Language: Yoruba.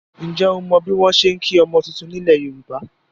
Ǹjẹ́ o mọ bí wọn ṣe ń kí ọmọ titun nílẹ̀ Yorùbá?